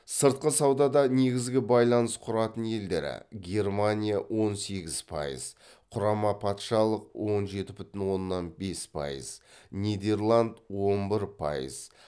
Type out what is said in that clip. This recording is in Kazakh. сыртқы саудада негізгі байланыс құратын елдері германия он сегіз пайыз құрама патшалық он жеті бүтін оннан бес пайыз нидерланд он бір пайыз